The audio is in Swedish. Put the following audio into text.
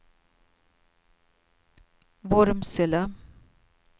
Vormsele